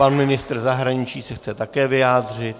Pan ministr zahraničí se chce také vyjádřit.